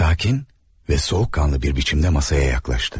Sakit və soyuqqanlı bir şəkildə masaya yaxınlaşdı.